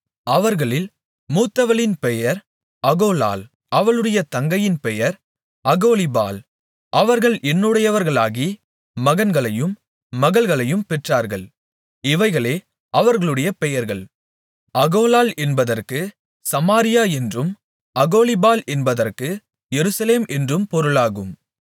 அவர்களில் மூத்தவளின் பெயர் அகோலாள் அவளுடைய தங்கையின் பெயர் அகோலிபாள் அவர்கள் என்னுடையவர்களாகி மகன்களையும் மகள்களையும் பெற்றார்கள் இவைகளே அவர்களுடைய பெயர்கள் அகோலாள் என்பதற்குச் சமாரியா என்றும் அகோலிபாள் என்பதற்கு எருசலேம் என்றும் பொருளாகும்